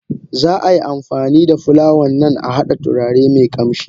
Za ai amfanida fulawan nan a hada turare me kamshi.